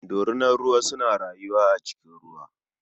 Dorinar ruwa suna rayuwa a cikin ruwa.